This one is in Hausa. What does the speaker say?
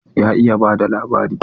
Ya iya ba da labari.